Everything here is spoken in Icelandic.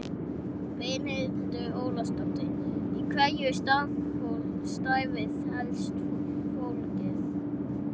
Brynhildur Ólafsdóttir: Í hverju er starfið helst fólgið?